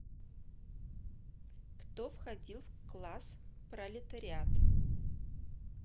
кто входил в класс пролетариат